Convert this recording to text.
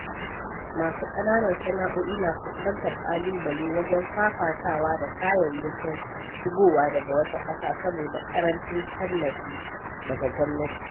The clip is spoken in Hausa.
Masu ƙananan sana’o’i na fuskantar ƙalubale wajen fafatawa da kayayyakin shigowa daga wata ƙasa saboda ƙarancin tallafi daga gwamnati.